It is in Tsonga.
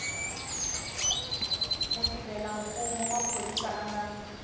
mutirhelamfumo wa phorisa a nga